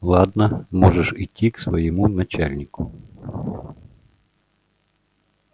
ладно можешь идти к своему начальнику